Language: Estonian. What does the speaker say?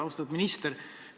Austatud minister!